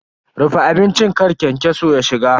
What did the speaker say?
Rufe abincin kar kyankyaso ya shiga.